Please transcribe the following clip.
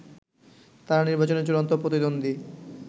তারা নির্বাচনে চূড়ান্ত প্রতিদ্বন্দ্বী